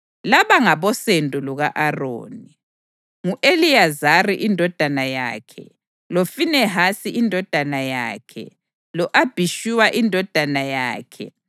Laba ngabosendo luka-Aroni: ngu-Eliyazari indodana yakhe, loFinehasi indodana yakhe, lo-Abhishuwa indodana yakhe,